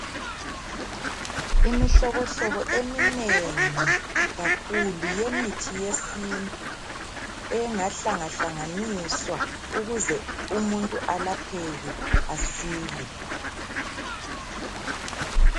Imihlobohlobo eminengi kakhulu yemithi yesintu engahlangahlanganiswa ukuze umuntu alapheke asile.